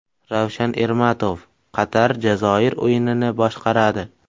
Ravshan Ermatov Qatar − Jazoir o‘yinini boshqaradi.